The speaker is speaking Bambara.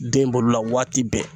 Den bolo la waati bɛɛ